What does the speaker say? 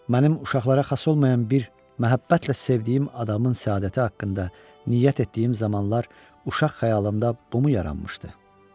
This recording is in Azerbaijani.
Mənim uşaqlara xas olmayan bir məhəbbətlə sevdiyim adamın səadəti haqqında niyyət etdiyim zamanlar uşaq xəyalımda bumu yaranmışdı?